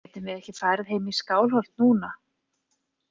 Getum við ekki farið heim í Skálholt núna?